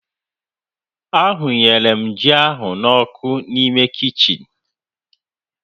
A hịnyere m ji ahụ n'ọku n'ime kichin